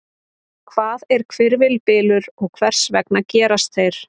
Hvað er hvirfilbylur og hvers vegna gerast þeir?